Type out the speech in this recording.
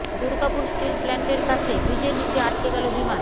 Durgapur steel প্লান্টের কাছে ব্রিজের নিচে আটকে গেল বিমান